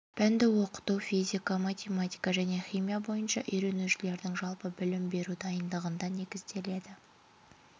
пәнді оқыту физика математика және химия бойынша үйренушілердің жалпы білім беру дайындығында негізделеді